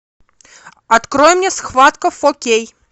открой мне схватка фо кей